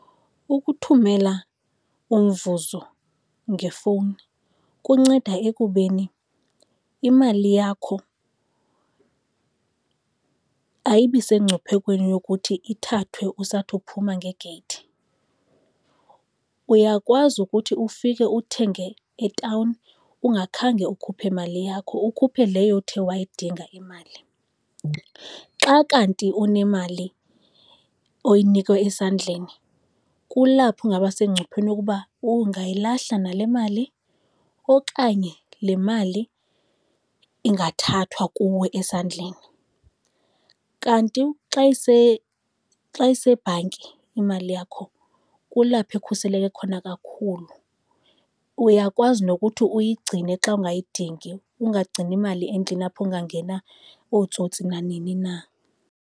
Ukuthumela umvuzo ngefowuni kunceda ekubeni imali yakho ayibi sengcuphekweni yokuthi ithathwe usathi uphuma ngegeyithi. Uyakwazi ukuthi ufike uthenge e-town ungakhange ukhuphe mali yakho, ukhuphe leyo uthe wayidinga imali. Xa kanti unemali oyinikwa esandleni kulapho ingaba sengcupheni ukuba ungayilahla nale mali okanye le mali ingathathwa kuwe esandleni. Kanti xa isebhanki imali yakho kulapho ikhuseleke khona kakhulu. Uyakwazi nokuthi uyigcine xa ungayidingi, ungagcini mali endlini apho kungangena ootsotsi nanini na.